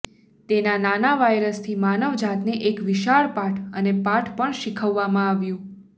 તેના નાના વાયરસથી માનવજાતને એક વિશાળ પાઠ અને પાઠ પણ શીખવવામાં આવ્યું